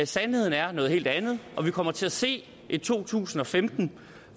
sandheden er noget helt andet vi kommer til at se et to tusind og femten